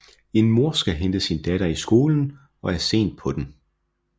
En mor skal hente sin datter i skolen og er sent på den